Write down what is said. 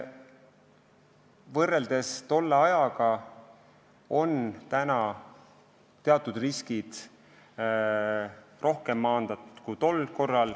Võrreldes tolle ajaga on praegu teatud riskid rohkem maandatud.